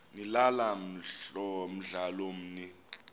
nilala mdlalomn l